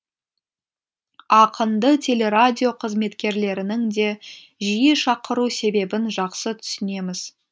ақынды телерадио қызметкерлерінің де жиі шақыру себебін жақсы түсінеміз